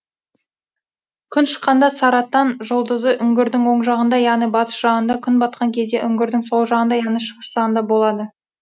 күн шыққанда саратан жұлдызы үңгірдің оң жағында яғни батыс жағында күн батқан кезде үңгірдің сол жағында яғни шығыс жағында болады